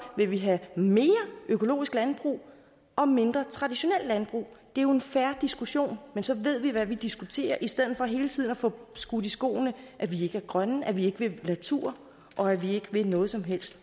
vi vil have mere økologisk landbrug og mindre traditionelt landbrug det er jo en fair diskussion og så ved vi hvad vi diskuterer i stedet for hele tiden får skudt i skoene at vi ikke er grønne at vi ikke vil natur og at vi ikke vil noget som helst